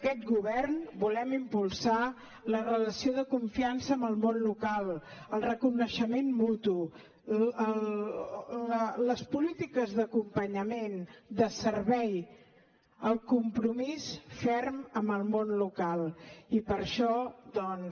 aquest govern volem impulsar la relació de confiança amb el món local el reconeixement mutu les polítiques d’acompanyament de servei el compromís ferm amb el món local i per això doncs